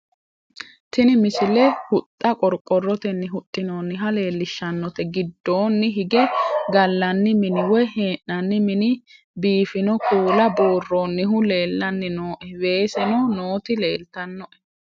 tini misile huxxa qorqorotennni huxxinoonniha lellishshannote giddoonni hige gallanni mini woy hee'nanni mini biiffino kuula buurroonnihu leellannni nooe weseno nooti leltannoe